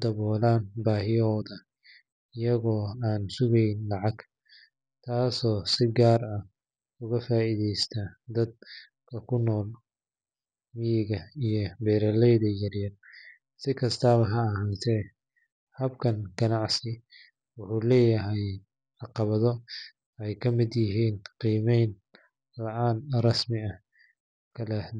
dawala bahiyaadoda, sikastawa ha ahate wexee leyihin si rasmi ah.